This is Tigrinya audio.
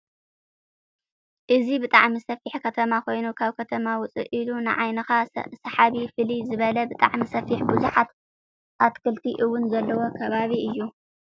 እዚ ብጣዕሚ ሰፊሕ ከተማ ኮይኑካብ ከተማ ውፅእ ኢሉ ንዓይንካ ሰሓቢ ፍልይ ዝበለ ብጣዕሚ ሰፊሕ ብዙሓት ኣትክልቲ እውን ዘለውዎ ከባቢ እዩ።